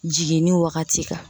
Jiginni wagati kan